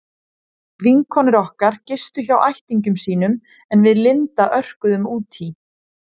Vinkonur okkar gistu hjá ættingjum sínum en við Linda örkuðum út í